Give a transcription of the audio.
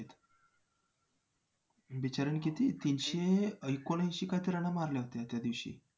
बिचाऱ्यानं किती तीनशे एकोणऐंशी काहीतरी रना मारल्या होत्या त्यादिवशी